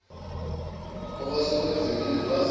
okwase kwenzekile kwase